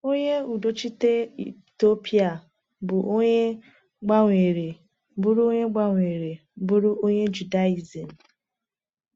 Onye udochite Etiopịa bụ onye gbanwere bụrụ onye gbanwere bụrụ onye Judaizim.